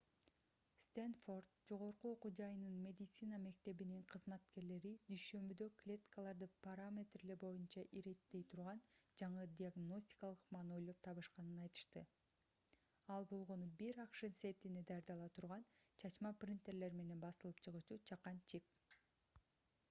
стэнфорд жогорку окуу жайынын медицина мектебинин кызматкерлери дүйшөмбүдө клеткаларды параметрлери боюнча иреттей турган жаңы диагностикалык ыкманы ойлоп табышканын айтышты ал болгону бир акш центине даярдала турган чачма принтерлер менен басылып чыгуучу чакан чип